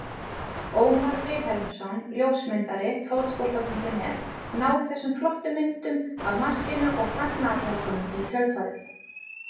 Ómar Vilhelmsson ljósmyndari Fótbolta.net náði þessum flottu myndum af markinu og fagnaðarlátunum í kjölfarið.